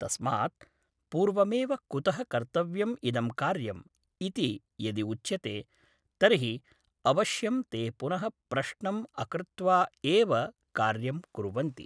तस्मात् पूर्वमेव कुतः कर्तव्यम् इदं कार्यम् इति यदि उच्यते तर्हि अवश्यं ते पुनः प्रश्नम् अकृत्वा एव कार्यं कुर्वन्ति